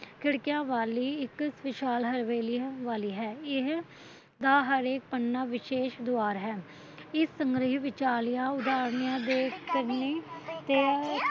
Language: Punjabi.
ਖਿੜਕੀਆਂ ਵਾਲੀ ਇੱਕ ਵਿਸ਼ਾਲ ਹਵੇਲੀ ਵਾਲੀ ਹੈ ਇਹ ਦਾ ਹਰੇਕ ਪੰਨਾ ਵਿਸ਼ੇਸ਼ ਦੁਆਰ ਹੈ ਇਸ ਸੰਗ੍ਰੈਹ ਵਿੱਚਾਲੀਆਂ